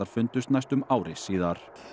fundust næstum ári síðar